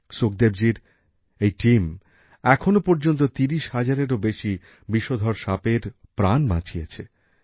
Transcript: সুখদেবজির এই দল এখনো পর্যন্ত ত্রিশ হাজারেরও বেশি বিষধর সাপের প্রাণ বাঁচিয়েছে